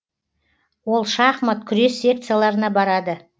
ол шахмат күрес секцияларына барады